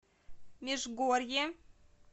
межгорье